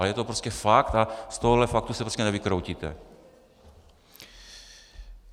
A je to prostě fakt a z tohohle faktu se prostě nevykroutíte.